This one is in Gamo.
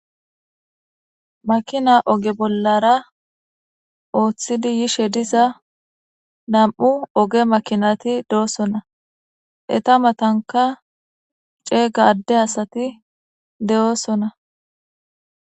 Makina ogge bollara othidi yishshe dizza nammu' ogge makkinathi dossona. Etta mathankka cegga adde assathi de'osona.